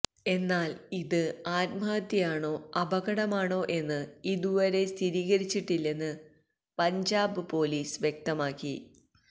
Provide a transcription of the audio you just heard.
എന്നാൽ ഇത് ആത്മഹത്യയാണോ അപകടമാണോ എന്ന് ഇതുവരെ സ്ഥിരീകരിച്ചിട്ടില്ലെന്ന് പഞ്ചാബ് പോലീസ് വ്യക്തമാക്കി